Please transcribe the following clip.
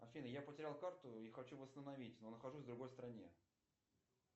афина я потерял карту и хочу восстановить но нахожусь в другой стране